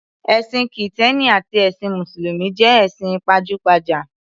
Ẹ̀sìn Kìtẹ́ẹ́nì àti ẹsìn Mùsùlùmí jẹ́ ẹ̀sìn pajúgbajà.